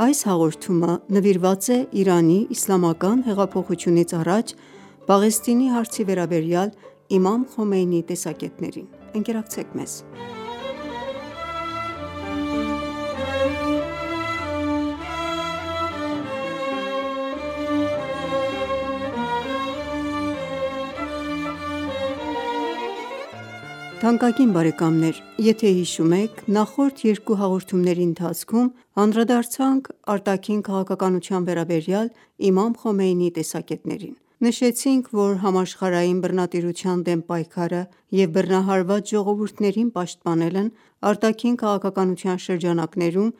Այս հաղորդումը նվիրված է Իրանի իսլամական հեղափոխությունից առաջ Պաղեստինի հարցի վերաբերյալ Իմամ Խոմեյնիի տեսակետներին: Բարև Ձեզ, թանկագին բարեկամներ: Եթե հիշում եք, նախորդ երկու հաղորդումների ընթացքում անդրադարձանք արտաքին քաղաքականության վերաբերյալ իմամ Խոմեյնիի տեսակետներին: Նշեցինք, որ համաշխարհային բռնատիրության դեմ պայքարը և բռնահարված ժողովուրդներին պաշտպանելն արտաքին քաղաքականության շրջանակներում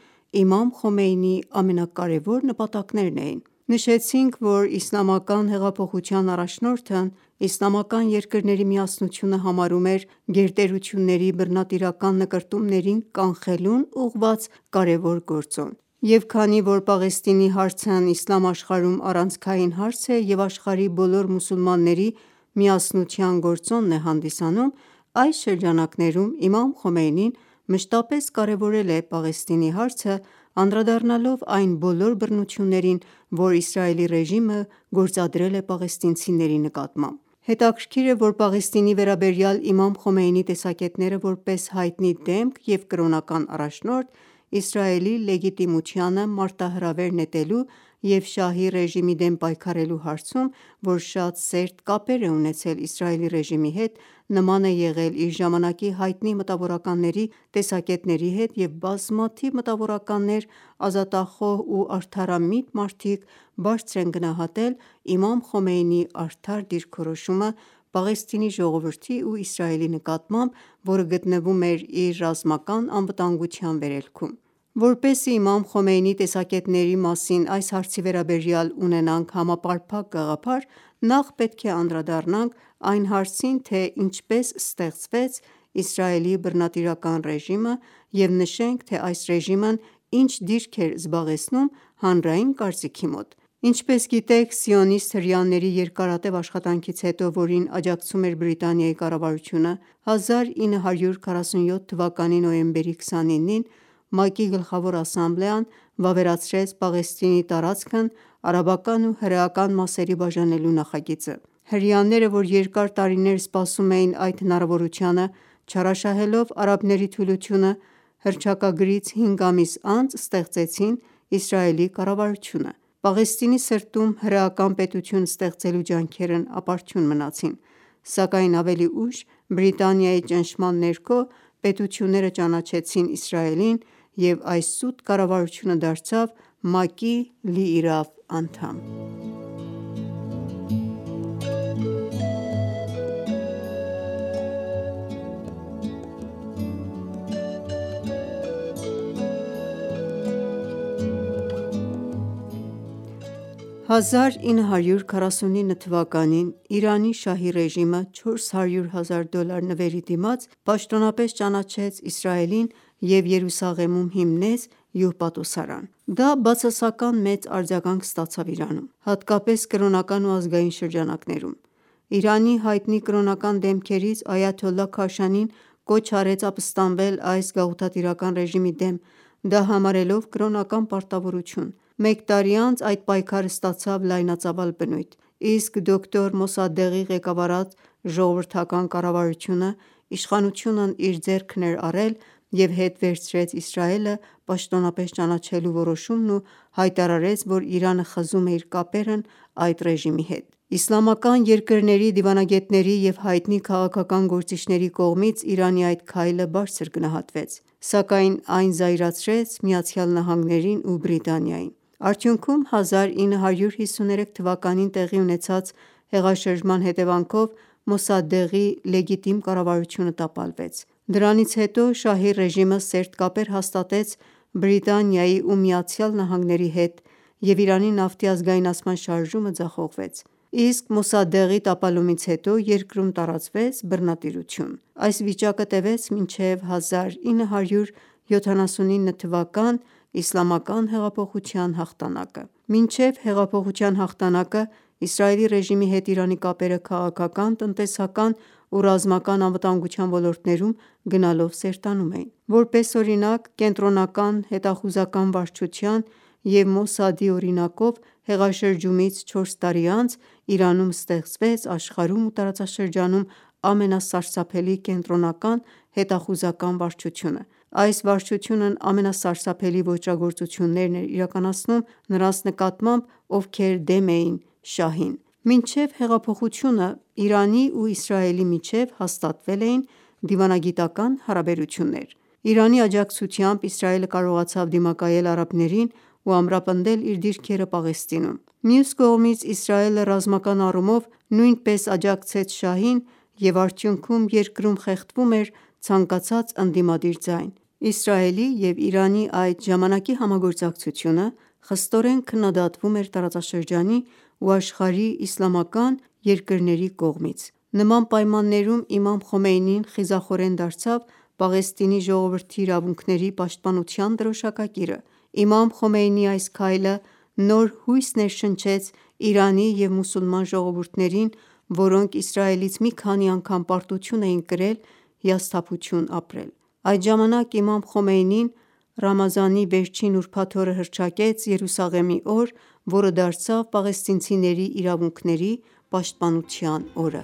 իմամ Խոմեյնիի ամենակարևոր նպատակներն էին: Նշեցինք, որ իսլամական հեղափոխության առաջնորդն իսլամական երկրների միասնությունը համարում էր գերտերությունների բռնատիրական նկրտումների կանխելուն ուղղված կարևոր գործոն: Եվ քանի որ Պաղեստինի հարցն իսլամ աշխարհում առանցքային հարց է և աշխարհի բոլոր մուսուլմանների միասնության գործոնն է հանդիսանում, այս շրջանակներում, իմամ Խոմեյնին մշտապես կարևորել է Պաղեստինի հարցն, անդրադառնալով այն բոլոր բռնություններին, որ Իսրայելի ռեժիմը գործադել է պաղեստինիցների նկատմամբ: Հետաքրքիր է, որ Պաղեստինի վերաբերյալ իմամ Խոմեյնիի տեսակետները, որպես հայտնի դեմք և կրոնական առաջնորդ, Իսրայելի լեգիտիմությանը մարտահրավեր նետելու և շահի ռեժիմի դեմ պայքարելու հարցում, որ շատ սերտ կապեր է ունեցել Իսրայելի ռեժիմի հետ, նման է եղել իր ժամանակի հայտնի մտավորականների տեսակետների հետ և բազմաթիվ մտավորականներ, ազատախոհ ու արդարամիտ մարդիկ, բարձր են գնահատել իմամ Խոմեյնիի արդար դիրքորոշումը` Պաղեստինի ժողովրդի ու Իսրայելի նկատմամբ, որը գտնվում էր իր ռազմական անվտանգության վերելքում: Որպեսզի իմամ Խոմեյնիի տեսակետների մասին այս հարցի վերաբերյալ ունենաք համապարփակ գաղափար, նախ պետք է անդրադառնանք այն հարցին, թե ինչպես ստեղծվեց Իսրայելի բռնատիրական ռեժիմը և նշենք, թե այս ռեժիմն ինչ դիրք էր զբաղեցնում հանրային կարծիքի մոտ: Ինչպես գիտեք, սիոնիստ հրեաների երկարատև աշխատանքից հետո, որին աջակցում էր Բրիտանիայի կառավարությունը, 1947թ նոյեմբերի 29-ին, ՄԱԿ-ի Գլխավոր Ասամբլեան վավերացրեց Պաղեստինի տարածքն արաբական ու հրեական մասերի բաժանելու նախագիծը: Հրեաները, որ երկար տարիներ սպասում էին այդ հնարավորությանը, չարաշահելով արաբների թուլությունը, հռչակագրից 5 ամիս անց ստեղծեցին Իսրայելի կառավարությունը: Պաղեստինի սրտում հրեական պետություն ստեղծելու ջանքերն ապարդյուն մնացին: Սակայն ավելի ուշ, Բրիտանիայի ճնշման ներքո, պետությունները ճանաչեցին Իսրայելին և այս սուտ կառավարությունը դարձավ ՄԱԿ-ի լիիրավ անդամ: Իսկ 1949թ. Իրանի շահի ռեժիմը, 400 հազար դոլար նվերի դիմաց, պաշտոնապես ճանաչեց Իրսայելին և Երուսաղեմում հիմնեց հյուպատոսարան: Դա բացասական մեծ արձագանք ստացավ Իրանում, հատկապես կրոնական ու ազգային շրջանակներում: Իրանի հայտնի կրոնական դեմքերից Այաթոլլահ Քաշանին, կոչ արեց ապստամբել այս գաղութատիրական ռեժիմի դեմ, դա համարելով կրոնական պարտավորություն: Մեկ տարի անց, այդ պայքարը ստացավ լայնածավալ բնույթ; Իսկ դոկտոր Մոսադեղի ղեկավարած ժողովրդական կառավարությունն իշխանությունն իր ձեռքն էր առել, և հետ վերցրեց Իսրայելը պաշտոնապես ճանաչելու որոշումն ու հայտարարեց, որ Իրանը խզում է իր կապերն այդ ռեժիմի հետ: Իսլամական երկրների դիվանագետների և հայտնի քաղաքական գործիչների կողմից, Իրանի այդ քայլը բարձր գնահատվեց: Սակայն այն զայրացրեց ԱՄՆ-ին ու Բրիտանիային: Արդյունքում, 1953թ տեղի ունեցած հեղաշրջման հետևանքով, Մոսադդեղի լեգիտիմ կառավարությունը տապալվեց: Դրանից հետո, շահի ռեժիմը սերտ կապեր հաստատեց Բրիտանիայի ու ԱՄՆ-ի հետ և Իրանի նավթի ազգայնացման շարժումը ձախողվեց: Իսկ Մոսադդեղի տապալումից հետո երկրում տարածվեց բռնատիրությունը: Այս վիճակը տևեց մինչև 1979թ իսլամական հեղափոխության հաղթանակը: Մինչև հեղափոխության հաղթանակը, Իսրայելի ռեժիմի հետ Իրանի կապերը քաղաքական, տնտեսական ու ռազմական անվտանգության ոլորտներում, գնալով սերտանում էին: Որես օրինակ, ԿՀՎ-ի և Մոսադի օրինակով, հեղաշրջումից 4 տարի անց, Իրանում ստեղծվեց աշխարհում ու տարածաշրջանում ամենասարսափելի Կենտրոնական հետախուզական վարչությունը: Այս վարչությունն ամենասարսափելի ոճրագործություններն էր իրականացնում նրանց նկատմամբ, ովքեր դեմ էին շահին: Մինչև հեղափոխությունը, Իրանի ու Իսրայելի միջև հաստատվել էին դիվանագիտական հարաբերություններ: Իրանի աջակցությամբ, Իսրայելը կարողացավ դիմակայել արաբներին ու ամրապնդել իր դիրքերը Պաղեստինում: Մյուս կողմից, Իսրայելը ռազմական առումով նույնպես աջակցեց շահին և արդյուքնում, երկրում խեղդվում էր ցանկացած ընդդիմադիր ձայն: Իսրայելի ու Իրանի այդ ժամանակի համագործակցությունը, խստորեն քննադատվում էր տարածաշրջանի ու աշխարհի իսլամական երկրների կողմից: Նման պայմաններում, իմամ Խոմեյնին, խիզախորեն դարձավ Պաեստինի ժողովրդի իրավունքների պաշտպանության դրոշակակիրը: Իմամ Խոմեյնիի այս քայլը նոր հույս ներշնչեց Իրանի և մուսուլման ժողովուրդներին, որոնք Իսրայելից մի քանի անգամ պարտություն էին կրել և հիասթափություն ապրել: Այդ ժամանակ, իմամ խոմեյնին Ռամադանի վերջին ուրբաթ օրը հռչակեց Երուսաղեմի օր, որը դարձավ պաղեստինցիների իրավունքների պաշտպանության օր: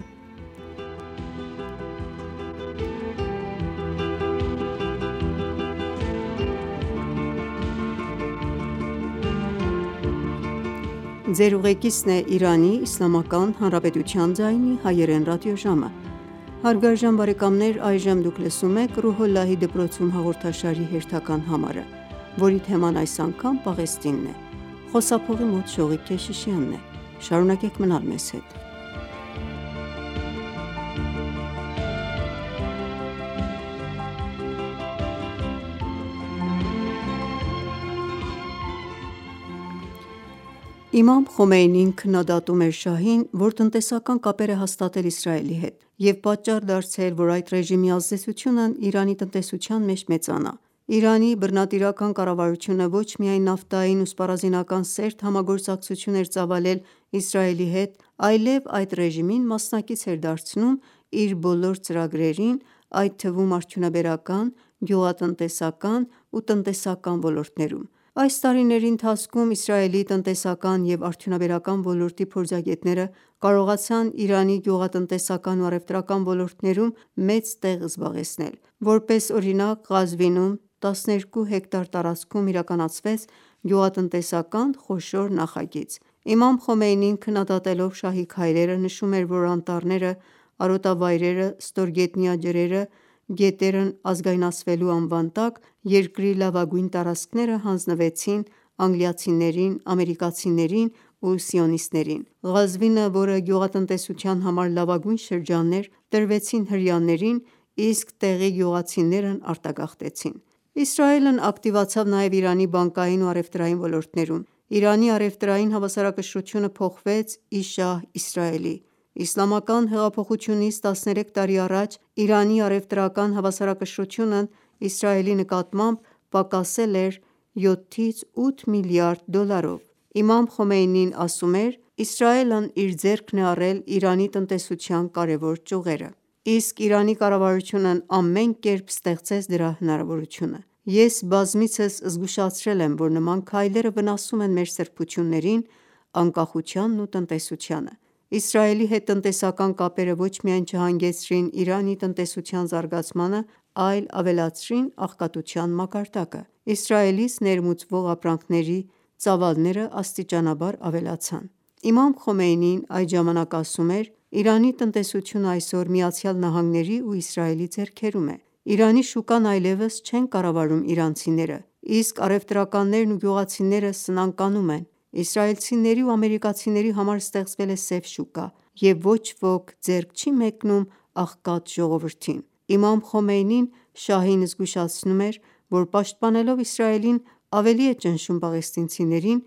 Իմամ Խոմեյնին քննադատում էր շահին, որ տնտեսական կապեր է հաստատել Իսրայելի հետ և պատճառ դարձել, որ այդ ռեժիմի ազդեցությունը Իրանի տնտեսության մեջ մեծանա: Իրանի բռնատիրական կառավարությունը ոչ միայն նավթային ու սպառազինական սերտ համագործակցություն էր ծավալել Իսրայելի հետ, այլև այդ ռեժիմին մասնակից էր դարձնում իր բոլոր ծրագրերին, այդ թվում` արդյունաբերական, գյուղատնտեսական ու տնտեսական ոլորտներում: Այս տարիների ընթացքում, Իսրայելի տնտեսական և արդյունաբերական ոլորտի փորձագետները կարողացան Իրանի գյուղատնտեսական ու առևտրական ոլորտներում մեծ տեղ զբաղեցնել: Որպես օրինակ, Ղազվինում, 12 հեկտար տարածքում իրականացվեց գյուղատնտեսական խոշոր նախագիծ: Իմամ Խոմեյնին, քննադատելով շահի քայլերը, նշում էր, որ անտառները, արոտավայրերը, ստորգետնյա ջրերը, գետերն ազգայնացվելու անվան տակ, երկրի լավագույն տարածքները հանձնվեցին անգլիացիներին, ամերիկացիներին ու սիոնիստներին: Ղազվինը, որը գյուղատնտեսության համար լավագույն շրջանն է, տրվեցին հրեաներին, իսկ տեղի գյուղացիներն արտագաղթեցին: Իսրայելն ակտիվացավ նաև Իրանի բանկային ու առևտրային ոլորտներում: Իրանի առևտրային հավասարակշռությունը փոխվեց ի շահ Իսրայելի: Իսլամական հեղափոխությունից 13 տարի առաջ, Իրանի առևտրական հավասարակշռությունն Իսրայելի նկատմամբ, պակասել էր 7-8 միլիարդ դոլարով: Իմամ Խոմեյնին ասում էր. «Իսրայելն իր ձեռքն է առել Իրանի տնտեսության կարևոր ճյուղերը: Իսկ Իրանի կառավարությունն ամեն կերպ ստեղծեց դրա հնարավորությունը: Ես բազմիցս զգուշացրել եմ, որ նման քայլերը վնասում են մեր սրբություններին, անկախությանն ու տնտեսությանը»: Իսրայելի հետ տնտեսական կապերը ոչ միայն չհանգեցրին Իրանի տնտեսության զարգացմանը, այլ ավելացրին աղքատության մակարդակը: Իսրայելից ներմուծվող ապրանքների ծավալներն աստիճանաբար ավելացան: Իմամ Խոմեյին այդ ժամանակ ասում էր. “Իրանի տնտեսությունն այսօր ԱՄՆ-ի ու Իսրայելի ձեռքերում է: Իրանի շուկան այլևս չեն կառավարում իրանցիները, իսկ առևտրականներն ու գյուղացիները սնանկանում են: Իսրայելցիների ու ամերիկացիների համար ստեղծվել է սև շուկա և ոչ ոք ձեռք չի մեկնում աղքատ ժողովրդին»: Իմամ խոմեյնին շահին զգուշացնում էր, որ պաշտպանելով Իսրայելին, ավեի է ճնշում պաղեստինցիներին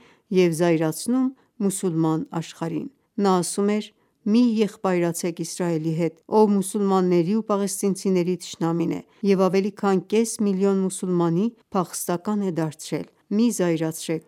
և զայրացնում մուսուլման աշխարհին: Նա ասում էր. «Մի եղբայրացեք Իսրայելի հետ, ով մուսուլմանների ու պաղեստինցիների թշնամին է և ավելի քան կես միլիոն մուսուլմանի փախստական է դարձրել: Մի զայրարցեք